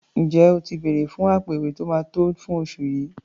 Ǹjẹ́ o ti bèrẹ̀ fún àpò-ìwé tó máa tó fún oṣù yìí?